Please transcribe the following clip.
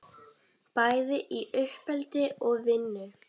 Bæði í uppeldi og vinnu.